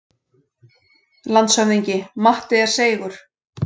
LANDSHÖFÐINGI: Matti er seigur.